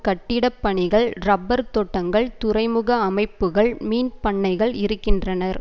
கட்டிடப் பணிகள் ரப்பர் தோட்டங்கள் துறைமுக அமைப்புக்கள் மீன் பண்ணைகள் இருக்கின்றனர்